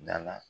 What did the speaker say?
Da la